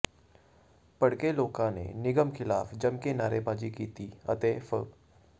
ਭੜਕੇ ਲੋਕਾਂ ਨੇ ਨਿਗਮ ਖਿਲਾਫ਼ ਜੰਮਕੇ ਨਾਅਰੇਬਾਜ਼ੀ ਕੀਤੀ ਅਤੇ ਫ